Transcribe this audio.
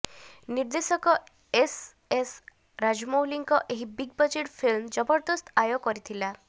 ନିର୍ଦ୍ଦେଶକ ଏସ୍ଏସ୍ ରାଜାମୌଲୀଙ୍କ ଏହି ବିଗ୍ ବଜେଟ୍ ଫିଲ୍ମ ଜବରଦସ୍ତ ଆୟ କରିଥିଲା